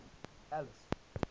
alice